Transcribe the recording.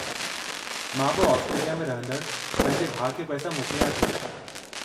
मां बि ऑस्ट्रेलिया में रहिंदड़ु पंहिंजे भाउ खे पैसा मोकिलियां थी।